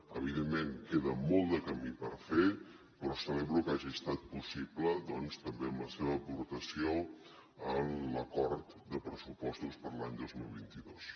evidentment queda molt de camí per fer però celebro que hagi estat possible doncs també amb la seva aportació en l’acord de pressupostos per a l’any dos mil vint dos